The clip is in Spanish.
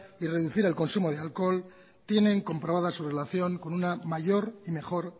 y reducir el consumo de alcohol tienen comprobada su relación con una mayor y mejor